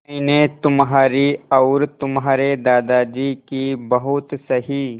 मैंने तुम्हारी और तुम्हारे दादाजी की बहुत सही